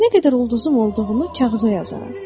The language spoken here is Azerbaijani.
Nə qədər ulduzum olduğunu kağıza yazaram.